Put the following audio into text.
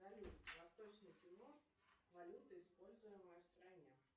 салют восточный тимор валюта используемая в стране